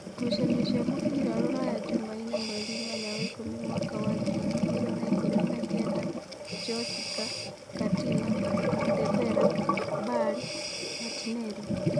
Ngucanio cia mũbira Ruraya Jumaine mweri inyanya wa ikũmi mwaka wa ngiri igĩrĩ na ikũmi na kenda: Njosika, Katino, Ndembere, Bali, Matineri